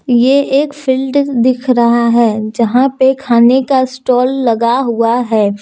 ये एक फील्डिंग दिख रहा है जहां पे खाने का स्टाल लगा हुआ है।